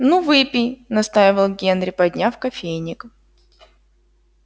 ну выпей настаивал генри подняв кофейник